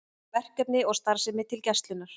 Verkefni og starfsmenn til Gæslunnar